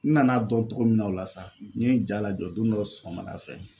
N nana dɔn togo min na o la sa n ye jalajɔ don dɔ sɔgɔmada fɛ